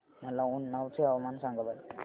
मला उन्नाव चे हवामान सांगा बरं